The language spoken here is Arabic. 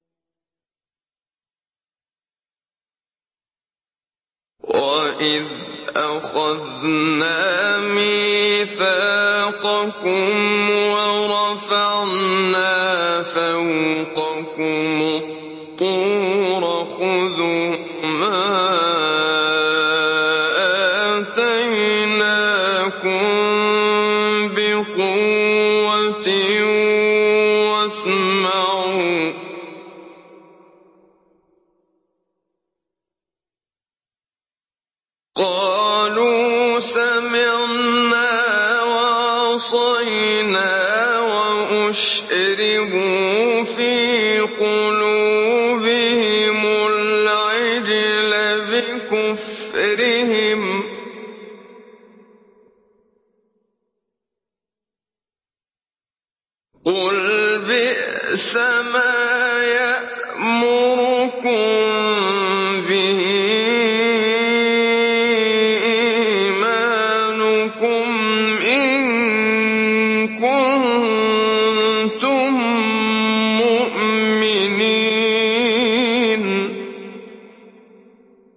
وَإِذْ أَخَذْنَا مِيثَاقَكُمْ وَرَفَعْنَا فَوْقَكُمُ الطُّورَ خُذُوا مَا آتَيْنَاكُم بِقُوَّةٍ وَاسْمَعُوا ۖ قَالُوا سَمِعْنَا وَعَصَيْنَا وَأُشْرِبُوا فِي قُلُوبِهِمُ الْعِجْلَ بِكُفْرِهِمْ ۚ قُلْ بِئْسَمَا يَأْمُرُكُم بِهِ إِيمَانُكُمْ إِن كُنتُم مُّؤْمِنِينَ